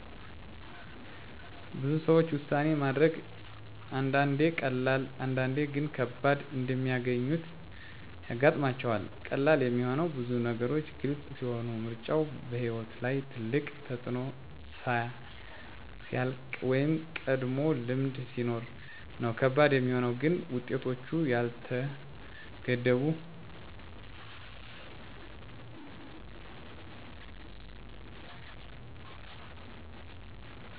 ብዙ ሰዎች ውሳኔ ማድረግን አንዳንዴ ቀላል፣ አንዳንዴ ግን ከባድ እንደሚያገኙት ያጋጥማቸዋል። ቀላል የሚሆነው ብዙ ነገሮች ግልጽ ሲሆኑ፣ ምርጫው በሕይወት ላይ ትልቅ ተፅዕኖ ሲያልቅ ወይም ቀድሞ ልምድ ሲኖር ነው። ከባድ የሚሆነው ግን ውጤቶቹ ያልተገመቱ ሲሆኑ፣ ብዙ አማራጮች ሲኖሩ ወይም “ትክክለኛው ምንድን ነው?” የሚለው ግልጽ ሲሆን አይደለም ጊዜ ነው። ውሳኔ ከማድረግ በፊት የሚኖሩ ውጤቶችን ለመገመገም፣ ብዙዎች፦ አጭር ጊዜ እና ረጅም ጊዜ ውጤቶችን ይለያያሉ “ከፍተኛ አደጋ ምን ነው? ትርፉ ምን ነው?” ብለው ይመዝናሉ ስሜታቸውን እና